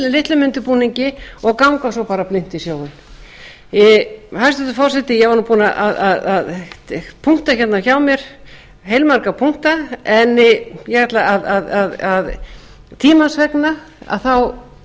litlum undirbúningi og ganga svo bara blint í sjóinn hæstvirtur forseti ég var nú búin að punkta hérna hjá mér heilmörg punkta en ég ætla tímans vegna sé ég það